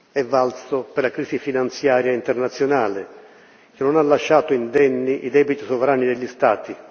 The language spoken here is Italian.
È valso per la crisi finanziaria internazionale, che non ha lasciato indenni i debiti sovrani degli Stati